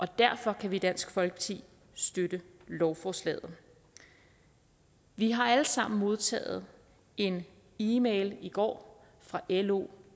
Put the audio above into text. derfor kan vi i dansk folkeparti støtte lovforslaget vi har alle sammen modtaget en e mail i går fra lo